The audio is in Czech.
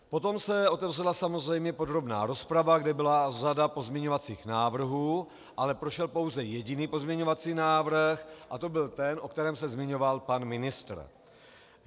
Potom se otevřela samozřejmě podrobná rozprava, kde byla řada pozměňovacích návrhů, ale prošel pouze jediný pozměňovací návrh a to byl ten, o kterém se zmiňoval pan ministr.